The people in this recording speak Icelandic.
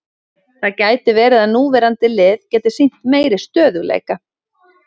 Það gæti verið að núverandi lið geti sýnt meiri stöðugleika.